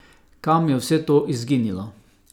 Kam je vse to izginilo?